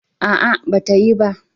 A'a, ba ta yi ba.